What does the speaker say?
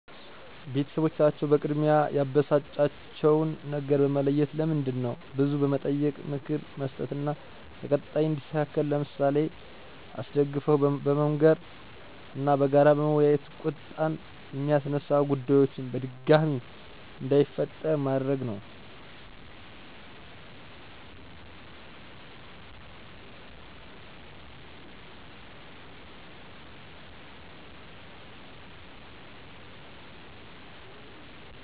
ቤተሰቦቻቸው በቅድሚያ ያበሳጫቸውን ነገር በመለየት ለምንድነው ብሎ በመጠየቅ ምክር መስጠት እና ለቀጣይ እንዲስተካከል በምሳሌ አስደግፈው መመካከር እና በጋራ በመወያየት ቁጣን የሚያስነሳ ጉዳዮችን በድጋሜ እንዳይፈጠር ማድረግ ነው።